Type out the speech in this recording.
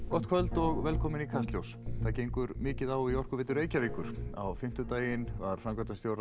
gott kvöld og velkomin í Kastljós það gengur mikið á í Orkuveitu Reykjavíkur á fimmtudaginn var framkvæmdastjóra